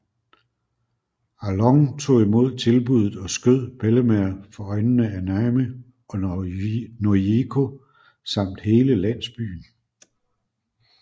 Arlong tog imod tilbuddet og skød Bellemere for øjnene af Nami og Nojiko samt hele landsbyen